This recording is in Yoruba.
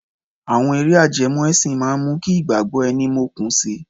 Àwọn eré ajẹmọ́ ẹsìn máa mú kí ìgbàgbọ́ ẹni mókun si.